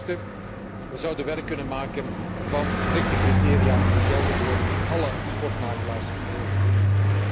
Ten eerste zouden we werk kunnen maken van strikte criteria die gelden voor alle sportmakelaars in heel de Unie.